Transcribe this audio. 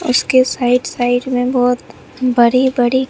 उसके side - side में बहोत बड़ी-बड़ी --